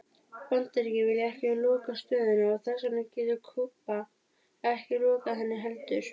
Bandaríkin vilja ekki loka stöðinni og þess vegna getur Kúba ekki lokað henni heldur.